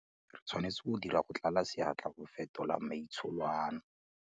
Re tshwanetse go dira go tlala seatla go fetola maitsholo ano.